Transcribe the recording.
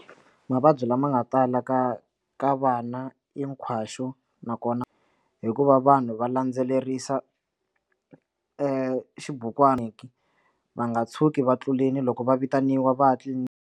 Mavabyi lama nga tala ka ka vana hinkwaxu nakona hikuva vanhu va landzelerisa exibukwini va nga tshuki va tluleli loko va vitaniwa va tliliniki.